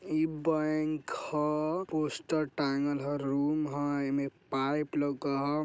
इ -बैंक हय पोस्टर टांगल हय रूम हय येमे पाइप लगो हय ।